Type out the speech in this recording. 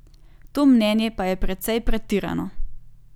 To mnenje pa je precej pretirano.